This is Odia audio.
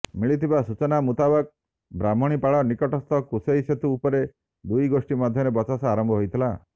ମିଳିଥିବା ସୂଚନା ମୁତାବକ ବ୍ରାହ୍ମଣୀପାଳ ନିକଟସ୍ଥ କୁଶେଇ ସେତୁ ଉପରେ ଦୁଇଗୋଷ୍ଠୀ ମଧ୍ୟରେ ବଚସା ଆରମ୍ଭ ହୋଇଥିଲା